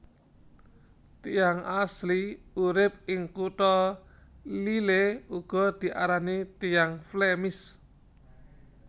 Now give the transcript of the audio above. Tiyang asli urip ing kutha Lille uga diarani tiyang Flemish